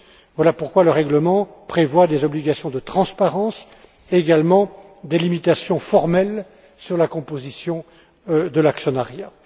Voilà pourquoi le règlement prévoit des obligations de transparence, mais également des limitations formelles quant à la composition de l'actionnariat.